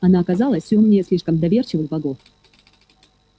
она оказалась умнее слишком доверчивых богов